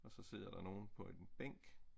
Og så sidder der nogle på en bænk